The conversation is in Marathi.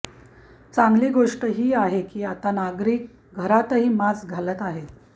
चांगली गोष्टी ही आहे की आता नागरिक घरातही मास्क घालत आहेत